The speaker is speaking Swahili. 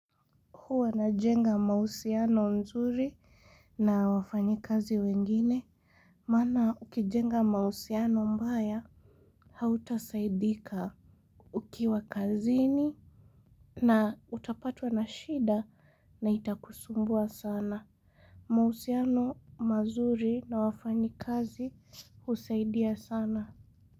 Huwa najenga mahusiano nzuri na wafanyikazi wengine, maana ukijenga mahusiano mbaya hautasaidika ukiwa kazini na utapatwa na shida na itakusumbua sana. Mahusiano mazuri na wafanyikazi husaidia sana.